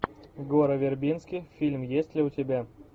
гора вербински фильм есть ли у тебя